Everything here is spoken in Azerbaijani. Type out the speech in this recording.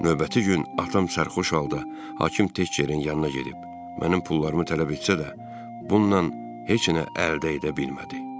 Növbəti gün atam sərxoş oldu, hakim Tex Cenin yanına gedib, mənim pullarımı tələb etsə də, bununla heç nə əldə edə bilmədi.